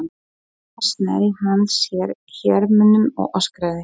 Svo sneri hann sér að hermönnunum og öskraði